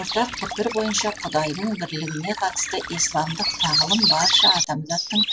ортақ пікір бойынша құдайдың бірлігіне қатысты исламдық тағылым барша адамзаттың